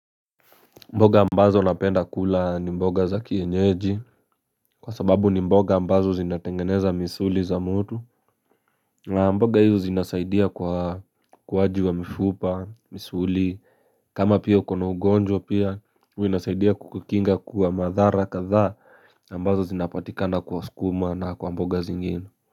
Mboga ambazo napenda kula ni mboga za kienyeji Kwa sababu ni mboga ambazo zinatengeneza misuli za mtu na mboga hizo zinasaidia kwa ukuwaji wa mfupa, misuli kama pia uko na ugonjwa pia huwa inasaidia kukukinga kwa madhara kadhaa ambazo zinapatikana kwa sukuma na kwa mboga zingine.